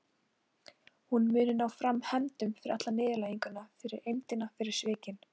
Hún muni ná fram hefndum fyrir alla niðurlæginguna, fyrir eymdina, fyrir svikin.